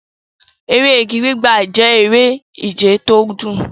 Eré igi gbígbà jẹ́ eré ìje tó dùn.